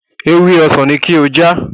Ewé ọsàn ni kí o já!